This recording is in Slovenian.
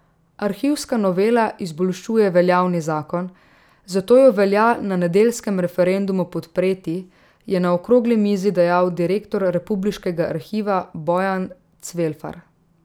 Arhivska novela izboljšuje veljavni zakon, zato jo velja na nedeljskem referendumu podpreti, je na okrogli mizi dejal direktor republiškega arhiva Bojan Cvelfar.